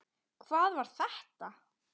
Hver var þetta?